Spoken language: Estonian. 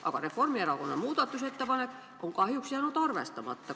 Kahjuks on Reformierakonna muudatusettepanek jäänud arvestamata.